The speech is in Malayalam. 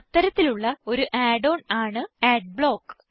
അത്തരത്തിൽ ഉള്ള ഒരു add ഓൺ ആണ് അഡ്ബ്ലോക്ക്